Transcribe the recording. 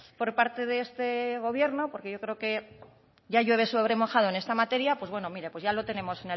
por parte de este gobierno porque yo creo que ya llueve sobre mojado en esta materia pues bueno ya lo tenemos